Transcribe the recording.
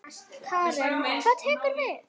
Karen: Hvað tekur við?